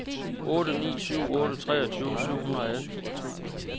otte ni syv otte treogtyve syv hundrede og atten